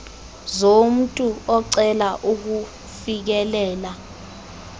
zomntu ocela ukufikelela